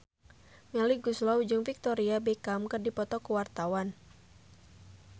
Melly Goeslaw jeung Victoria Beckham keur dipoto ku wartawan